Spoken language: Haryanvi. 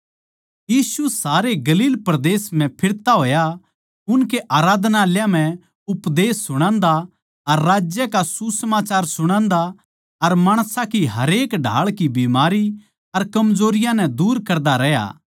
यीशु सारे गलील परदेस म्ह फिरता होया उनकै आराधनालयाँ म्ह उपदेश सुणान्दा अर राज्य का सुसमाचार सुणादा अर माणसां की हरेक ढाळ की बीमारी अर कमजोरियाँ नै दूर करता रह्या